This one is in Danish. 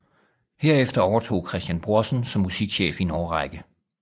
Herefter overtog Christian Brorsen som musikchef i en årrække